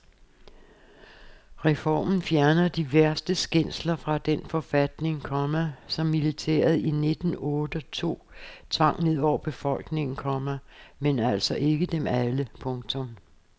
Reformen fjerner de værste skændsler fra den forfatning, komma som militærstyret i nitten otte to tvang ned over befolkningen, komma men altså ikke dem alle. punktum